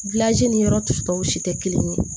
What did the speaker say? ni yɔrɔ tusu cogo si tɛ kelen ye